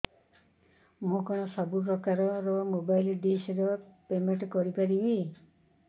ମୁ କଣ ସବୁ ପ୍ରକାର ର ମୋବାଇଲ୍ ଡିସ୍ ର ପେମେଣ୍ଟ କରି ପାରିବି